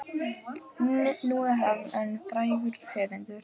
Nú er hann orðinn frægur höfundur.